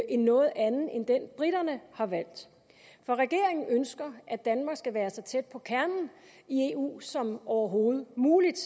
en noget anden end den briterne har valgt for regeringen ønsker at danmark skal være så tæt på kernen i eu som overhovedet muligt